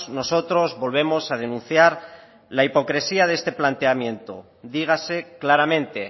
nosotros volvemos a denunciar la hipocresía de este planteamiento dígase claramente